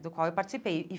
do qual participei e.